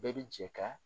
Bɛɛ bi jɛ ka